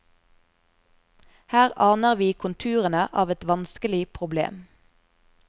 Her aner vi konturene av et vanskelig problem.